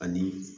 Ani